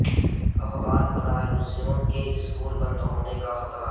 افغان پناہ گزینوں کے سکول بند ہونے کا خطرہ